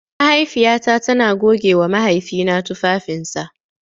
Mahaifiyata tana gogewa mahaifina tufafinsa.